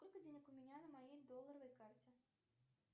сколько денег у меня на моей долларовой карте